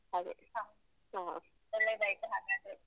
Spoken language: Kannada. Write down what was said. ಹಹಾ ಒಳ್ಳೇದಾಯ್ತು ಹಾಗಾದ್ರೆ.